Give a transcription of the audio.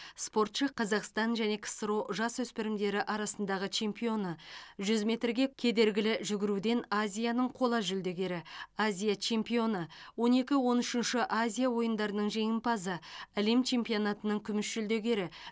спортшы қазақстан және ксро жасөспірімдері арасындағы чемпионы жүз метрге кедергілі жүгіруден азияның қола жүлдегері азия чемпионы он екі он үшінші азия ойындарының жеңімпазы әлем чемпионатының күміс жүлдегері